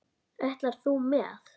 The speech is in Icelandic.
Ætlar þú með?